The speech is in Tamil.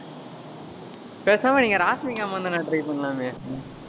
பேசாம, நீங்க ராஸ்மிகா மந்தனா try பண்ணலாமே.